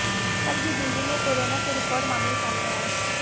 कल भी दिल्ली में कोरोना के रिकॉर्ड मामले सामने आए